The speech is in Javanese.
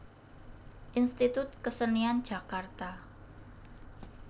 Institut Kesenian Jakarta